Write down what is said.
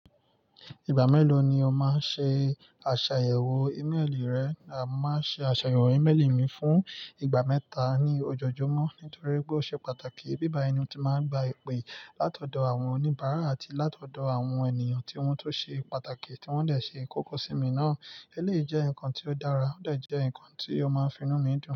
Ìgbà mélòó ni ó máa ń ṣe àṣàyẹ̀wò íméelì rẹ? A mo máa n ṣe àṣàyẹ̀wò ímélì mi fún ìgbà mẹ́ta ní ojoojúmọ́ nítorí pé ó ṣe pàtàkì. Bíbá yi ni o tí máa ń gba ìpè látọ̀dọ̀ àwọn oníbàárà àti látọ̀dọ̀ àwọn ènìyàn tí wọ́n tun ṣe pàtàkì tí wọ́n dẹ̀ ṣe kókó sí mi náà. Ẹ́léyii jẹ́ nǹkan tí ó dára, ó dẹ̀ jẹ́ ǹnkan tí ó máa ń finú mi dùn.